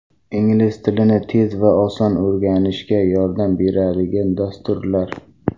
Ingliz tilini tez va oson o‘rganishga yordam beradigan dasturlar.